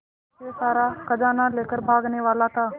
पीछे से सारा खजाना लेकर भागने वाला था